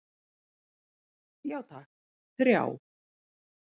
Já takk, þrjá.